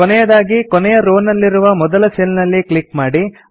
ಕೊನೆಯದಾಗಿ ಕೊನೆಯ ರೋ ನಲ್ಲಿನ ಮೊದಲ ಸೆಲ್ ನಲ್ಲಿ ಕ್ಲಿಕ್ ಮಾಡಿ